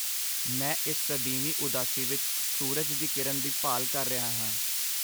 ਮੈਂ ਇਸ ਸਦੀਵੀ ਉਦਾਸੀ ਵਿੱਚ ਸੂਰਜ ਦੀ ਕਿਰਨ ਦੀ ਭਾਲ ਕਰ ਰਿਹਾ ਹਾਂ।